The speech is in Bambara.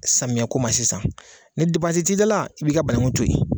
Samiya ko ma sisan ni da la i b'i ka bananku to yen.